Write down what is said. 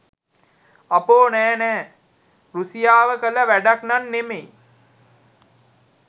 අපෝ නෑ නෑ රුසියාව කළ වැඩක්නම් නෙමෙයි!